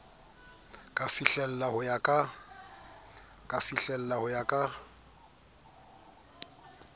ka fihlellang ho ka ya